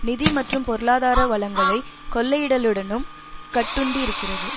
நிதி மற்றும் பொருளாதார வளங்களைக் கொள்ளையிடலுடனும் கட்டுண்டிருக்கிறது